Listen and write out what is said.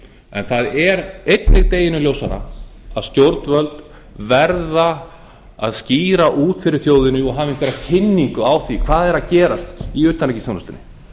en það er einnig deginum ljósara að stjórnvöld verða að skýra út fyrir þjóðinni og hafa einhverja kynningu á því hvað er að gerast í utanríkisþjónustunni